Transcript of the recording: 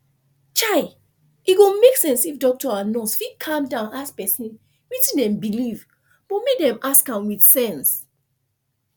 chaie go make sense if doctor and nurse fit calm down ask person wetin dem believe but make dem ask am with sense